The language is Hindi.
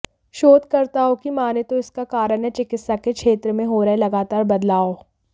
शोधकर्ताओं की माने तो इसका कारण है चिकित्सा के क्षेत्र में हो रहे लगातार बदलाव